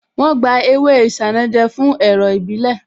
Wọ́n gba ewé Isanaje fún ẹ̀rọ̀ ìbílẹ̀